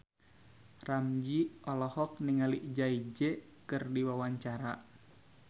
Ramzy olohok ningali Jay Z keur diwawancara